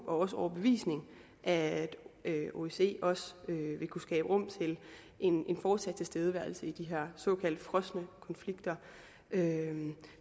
og overbevisning at osce også vil kunne skabe rum til en fortsat tilstedeværelse i de her såkaldt frosne konflikter